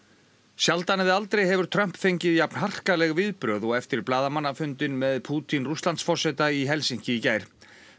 sjaldan eða aldrei hefur Trump fengið jafn harkaleg viðbrögð og eftir blaðamannafundinn með Pútín Rússlandsforseta í Helsinki í gær